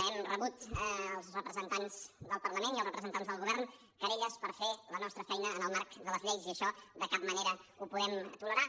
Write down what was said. hem rebut els representants del parlament i els representants del govern querelles per haver fet la nostra feina en el marc de les lleis i això de cap manera ho podem tolerar